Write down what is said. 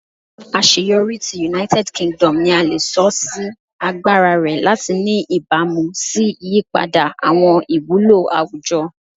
Aṣeyọri ti United Kingdom ni a le sọ si agbara rẹ lati ni ibamu si iyipada awọn iwulo awujọ